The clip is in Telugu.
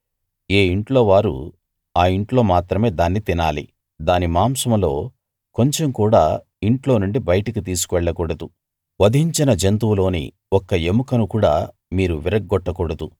ఏ ఇంట్లో వారు ఆ ఇంట్లో మాత్రమే దాన్ని తినాలి దాని మాంసంలో కొంచెం కూడా ఇంట్లో నుండి బయటికి తీసుకు వెళ్ళకూడదు వధించిన జంతువులోని ఒక్క ఎముకను కూడా మీరు విరగ్గొట్టకూడదు